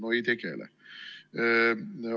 No ei tegele!